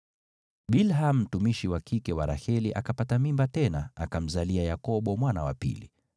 Bilha mtumishi wa kike wa Raheli akapata mimba tena, akamzalia Yakobo mwana wa pili.